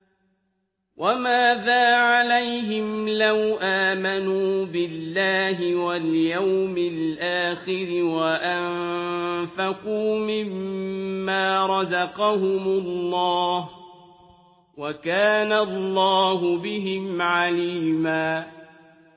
وَمَاذَا عَلَيْهِمْ لَوْ آمَنُوا بِاللَّهِ وَالْيَوْمِ الْآخِرِ وَأَنفَقُوا مِمَّا رَزَقَهُمُ اللَّهُ ۚ وَكَانَ اللَّهُ بِهِمْ عَلِيمًا